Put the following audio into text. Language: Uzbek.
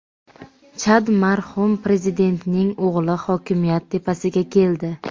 Chad marhum Prezidentining o‘g‘li hokimiyat tepasiga keldi.